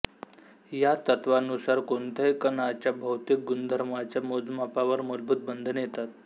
या तत्त्वानुसार कोणत्याही कणाच्या भौतिक गुणधर्मांच्या मोजमापावर मूलभूत बंधने येतात